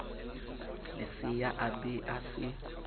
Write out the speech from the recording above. lesea a be a se